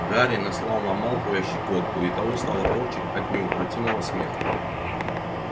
гарри наслал на малфоя щекотку и того стало корчить от неукротимого смеха